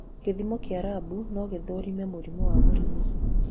gĩthimo kĩa labu no gĩthũrime mũrimũ wa mũrimũ.